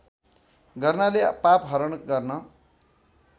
गर्नाले पापहरण गर्न